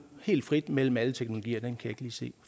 helt frit mellem alle teknologier kan jeg ikke lige se